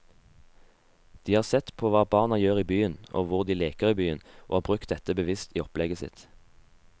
De har sett på hva barna gjør i byen og hvor de leker i byen og brukt dette bevisst i opplegget sitt.